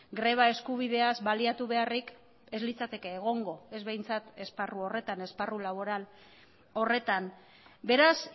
greba eskubideaz baliatu beharrik ez litzateke egongo ez behintzat esparru horretan esparru laboral horretan beraz